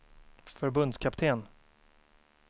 förbundskapten